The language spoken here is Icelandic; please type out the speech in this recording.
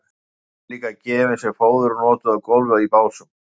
stráin eru líka gefin sem fóður og notuð á gólf í básum